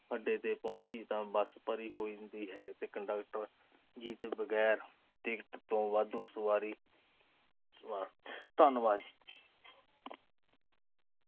ਅੱਡੇ ਤੇ ਪਹੁੰਚੀ ਤਾਂ ਬੱਸ ਭਰੀ ਹੋਈ ਹੁੰਦੀ ਹੈ ਤੇ ਕੰਡਕਟਰ ਜੀਤ ਬਗੈਰ ਟਿਕਟ ਤੋਂ ਵਾਧੂ ਸਵਾਰੀ ਅਹ ਧੰਨਵਾਦ।